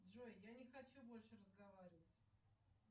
джой я не хочу больше разговаривать